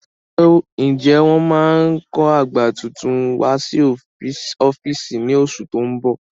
Ǹjẹ́ wọ́n máa kó àga tuntun wá sí ọ́fíìsì ní oṣù tó ń bọ̀?